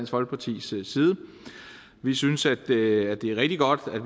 folkepartis side vi synes at det er rigtig godt at